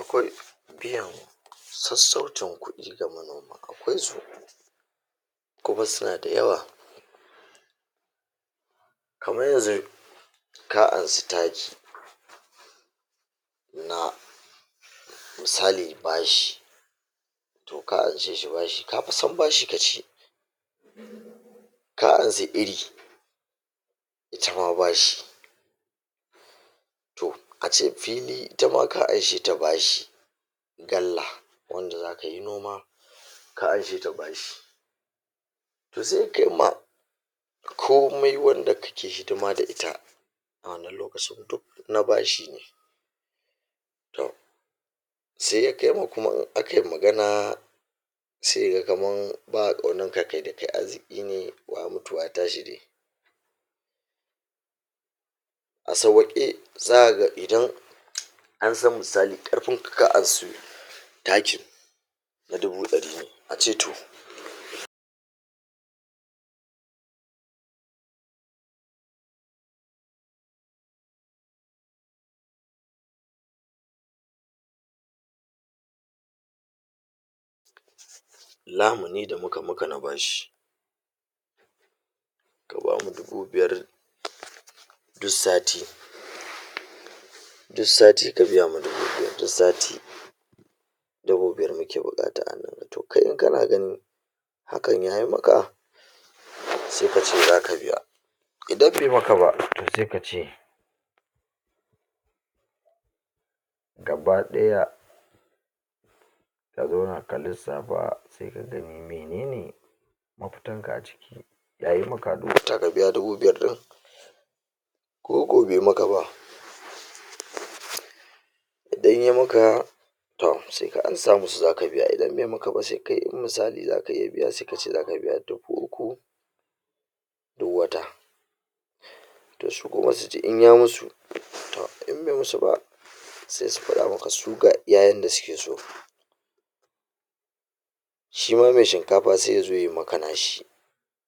Akwai biyan sassaucin kudi ga manoma akwai su kuma su na da yawa kaman yanzu ka ansa taki na misali bashi toh ka anshe shi bashi, ka fa san bashi ka ci, ka ansa iri, ita ma bashi, toh ace fili, ita ma ka anshe ta bashi, galla wanda za ka yi noma, ka anshe ta bashi toh sai kaima komai wanda kake hidima da ita a wannan lokacin, duk na bashi ne, toh sai ya kai mu kuma in aka yi magana sai ya ga kaman ba a kaunan ka, kai da kai arziki ne, waya mutu waya tashi de, a sauwake, za ka ga idan an san misali, karfin ka, ka ansu takin na dubu dari ne, a ce toh lamuni da muka maka na bashi, ka bamu dubu biyar du sati du sati, ka biya ma dubu biyar du sati dubu biyar muke bukata a hannun ka, toh kai in kana ganin hakan ya yi maka sai ka ce, zaka biya, idan bai maka ba, toh sai ka ce gabadaya ka zauna ka lissafa sai ka gani menene mafitan ka a ciki yayi maka a du wata ka biya dubu biyar din koko bai maka ba idan yai maka toh sai ka ansa musu za ka biya, idan bai maka ba, sai kai in misali za ka iya biya, sai ka ce za ka biya dubu uku, du wata, toh su kuma su ji, in ya musu toh in bai musu ba sai su fada maka su, ga iya su yanda suke so. Shi ma mai shinkafa sai ya zo yai maka na shi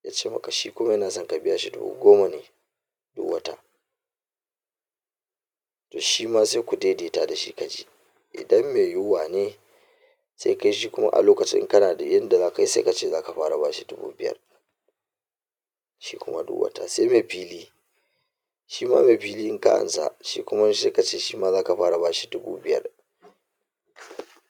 ya ce maka, shi kuma ya na so ka biya shi, dubu goma ne du wata, toh shi ma, sai ku daidaita da shi ka ji idan mai yuwa ne sai kai shi kuma a lokacin, in ka na da yadda za ka yi, sai ka ce za ka fara bashi dubu biyar, shi kuma du wata, shi mai fili shi ma, mai fili in ka ansa, shi kuma sai ka ce shi ma zaka fara bashi dubu biyar.